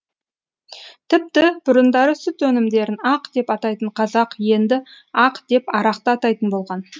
тіпті бұрындары сүт өнімдерін ақ деп атайтын қазақ енді ақ деп арақты атайтын болған